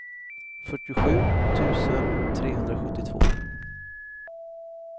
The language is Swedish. fyrtiosju tusen trehundrasjuttiotvå